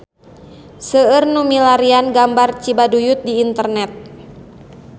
Seueur nu milarian gambar Cibaduyut di internet